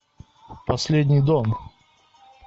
последний дом